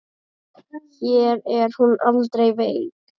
Hér er hún aldrei veik.